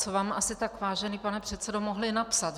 Co vám asi tak, vážený pane předsedo, mohli napsat.